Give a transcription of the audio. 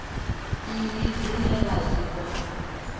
nnyi dzine vha dzi wana